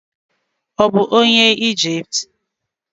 Ọ̀ bụ onye Ijipt?